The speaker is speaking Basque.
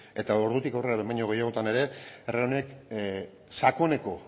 eta ordutik aurrera behin baino gehiagotan ere herri honek sakoneko